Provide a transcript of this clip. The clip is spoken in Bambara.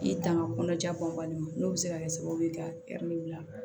I tanga kɔnɔja bɔnbali ma n'o bɛ se ka kɛ sababu ye ka bila